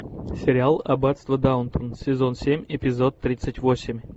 сериал аббатство даунтон сезон семь эпизод тридцать восемь